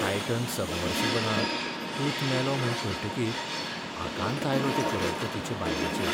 Titan सबमर्सिबलांत पूत मेलो म्हूण कळटकीर आकांत आयलो ते करोडपतीचे बायलेचेर.